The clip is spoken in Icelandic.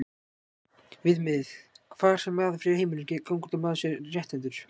Viðmiðið, hvar sem maður fer í heiminum, gengur út á að maður sé rétthentur.